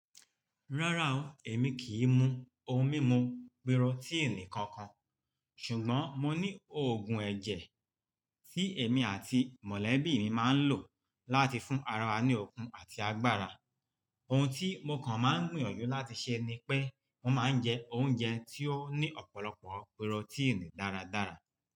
Rárá o, èmi kì í mu ohun mímu pírọ́tíìnì kankan, ṣùgbọ́n mo ní òògùn ẹ̀jẹ̀ tí èmi àti mọ̀lẹ́bí mi máa ń lò láti fún ara wa ní okun àti agbára. Ohun tí mo kàn máa ń gbìyànjú láti ṣe ni pé mo máa ń jẹ oúnjẹ tí ó ní ọ̀pọ̀lọpọ̀ pírọ́tíìnì dáradára.